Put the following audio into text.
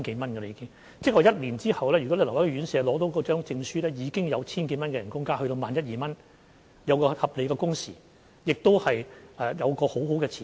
換言之，一年後，如果留在院舍工作而獲得證書，已經可加薪千多元至月薪萬一、萬二元，享有合理的工時，亦有良好的前景。